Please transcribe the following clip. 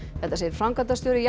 þetta segir framkvæmdastjóri